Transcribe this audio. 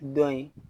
Dɔn in